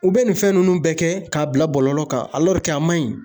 U bɛ nin fɛn ninnu bɛɛ kɛ, k'a bila bɔlɔlɔ kan a man ɲi.